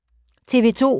TV 2